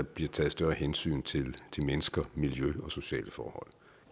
bliver taget større hensyn til mennesker miljø og sociale forhold